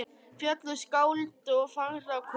Fjöll og skáld og fagrar konur.